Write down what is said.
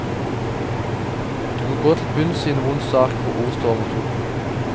Du må gå til bunns i en vond sak hvor ord står mot ord.